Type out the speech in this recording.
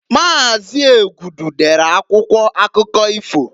Maazi Egudu dere akwụkwọ akụkọ ifo.